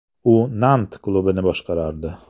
U “Nant” klubini boshqardi.